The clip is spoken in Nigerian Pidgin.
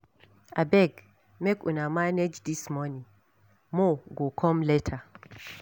Abeg make una manage dis money, more go come later